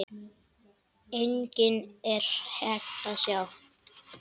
Einnig er hægt að sjá.